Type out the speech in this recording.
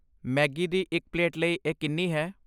Maggi ਦੀ ਇੱਕ plate ਲਈ ਇਹ ਕਿੰਨੀ ਹੈ?